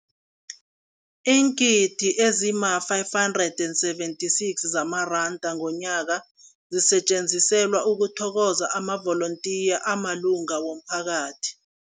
Iingidi ezima-576 zamaranda ngomnyaka zisetjenziselwa ukuthokoza amavolontiya amalunga womphakathi.